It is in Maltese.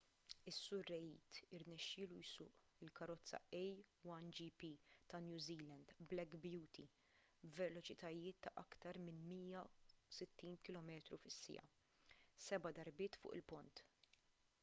is-sur reid irnexxielu jsuq il-karozza a1gp tan-new zealand black beauty b’veloċitajiet ta’ aktar minn 160km/siegħa seba’ darbiet fuq il-pont